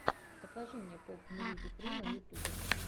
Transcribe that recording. покажи мне попмьюзикру на ютубе